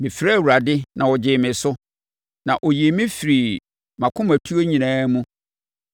Mefrɛɛ Awurade na ɔgyee me so; na ɔyii me firii mʼakomatuo nyinaa mu.